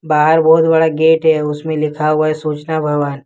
बाहर बहुत बड़ा गेट है उसमें लिखा हुआ है सूचना भवन।